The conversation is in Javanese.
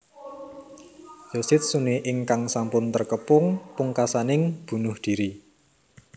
Yoshitsune ingkang sampun terkepung pungkasaning bunuh diri